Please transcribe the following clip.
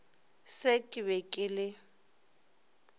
se ke be ke le